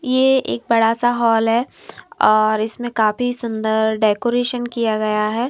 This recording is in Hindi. ये एक बड़ा-सा हॉल है और इसमें काफी सुंदर डेकोरेशन किया गया है।